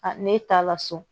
ne taa la so